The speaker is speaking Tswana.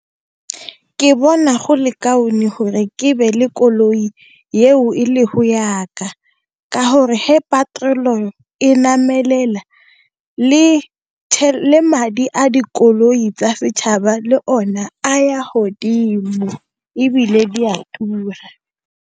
Ke bona go le kaone gore ke be le koloi yeo e le go yaka, ka gore he patrol-e e namelela le madi a dikoloi tsa setšhaba le o ne, a ya hodimo ebile di a tura.